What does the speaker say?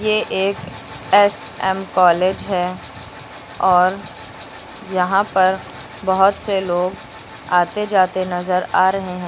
ये एक S M college है और यहां पर बहोत से लोग आते जाते नजर आ रहे हैं।